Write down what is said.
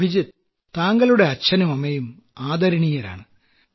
അഭിജിത്ത് താങ്കളുടെ അച്ഛനും അമ്മയും ആദരണീയരാണ്